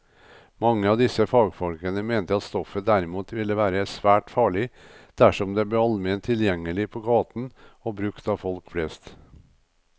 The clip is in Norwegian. Mange av disse fagfolkene mente at stoffet derimot ville være svært farlig dersom det ble allment tilgjengelig på gaten og brukt av folk flest.